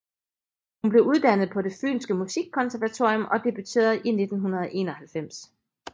Hun blev uddannet på Det Fynske Musikkonservatorium og debuterede i 1991